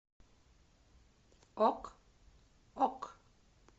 ок ок